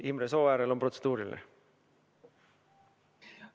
Imre Sooäärel on protseduuriline küsimus.